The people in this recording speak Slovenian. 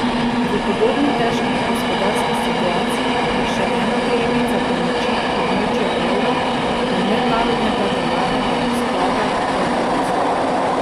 V podobno težki gospodarski situaciji je še ena prejemnica pomoči območja evra in Mednarodnega denarnega sklada, Portugalska.